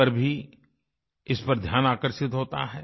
पर भी इस पर ध्यान आकर्षित होता है